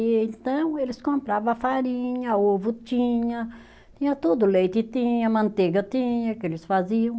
Então, eles comprava a farinha, ovo tinha, tinha tudo, leite tinha, manteiga tinha, que eles faziam.